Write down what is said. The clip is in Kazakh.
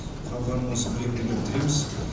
қалғанын осы бір екі күнде бітіреміз